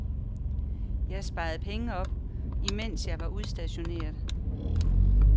Jeg sparede penge op, imens jeg var udstationeret.